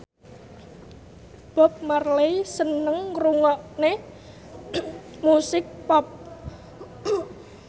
Bob Marley seneng ngrungokne musik pop